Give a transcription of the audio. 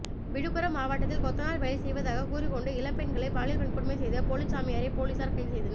விழுப்புரம் மாவட்டத்தில் கொத்தனார் வேலை செய்வதாக கூறிக்கொண்டு இளம்பெண்களை பாலியல் வன்கொடுமை செய்த போலிச்சாமியாரை போலிசார் கைது செய்தனர்